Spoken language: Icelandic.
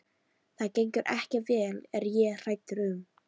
Það gengur ekki vel er ég hræddur um.